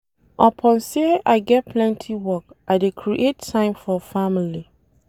Upon sey I get plenty work, I dey create time for family.